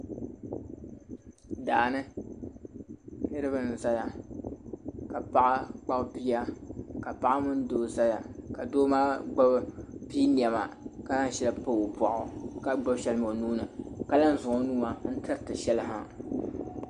Daa ni niriba n-zaya ka paɣa kpabi bia ka paɣa mini doo zaya ka doo maa pii nɛma ka zaŋ shɛli pa o bɔɣu ka gbubi shɛli mi o nuu ni ka lan zaŋ o nuu n-tiriti shɛli ha.